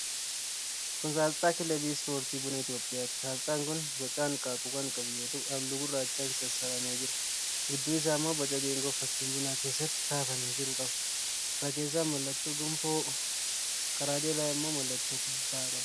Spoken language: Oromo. Kun aasxaa Kilabii Ispoortii Buna Itiyoophiyaati. Aasxaan kun boca hanqaaquu kan qabu yoo ta'u, halluu gurraachaan sassararamee jira. Gidduu isaa immoo boca geengoo fakkiin bunaa keessatti kaafamee jiru qaba. Irra keessaan mallattoo gonfoo, karaa jalaa immoo mallattoo kubbaa qaba.